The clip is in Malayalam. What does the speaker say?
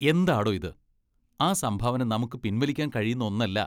എന്താടോ ഇത്? ആ സംഭാവന നമുക്ക് പിൻവലിക്കാൻ കഴിയുന്ന ഒന്നല്ല.